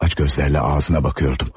Aç gözlərlə ağzına baxıyordum.